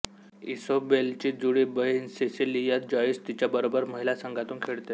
इसोबेलची जुळी बहीण Cecilia Joyce तिच्याबरोबर महिला संघातून खेळते